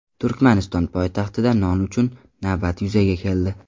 Turkmaniston poytaxtida non uchun navbatlar yuzaga keldi.